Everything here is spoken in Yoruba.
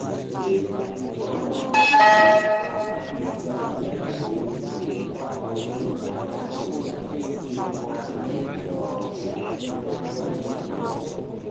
ní ti àlàáfíà ògbómọṣọ ìmọ́lẹ̀ tuntun ló dé um yìí ire tuntun ló dé yìí um